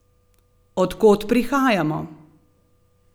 Od kod prihajamo?